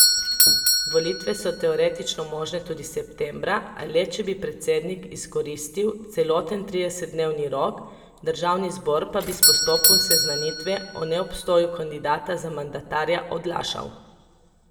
Volitve so teoretično možne tudi septembra, a le če bi predsednik izkoristil celoten tridesetdnevni rok, državni zbor pa bi s postopkom seznanitve o neobstoju kandidata za mandatarja odlašal.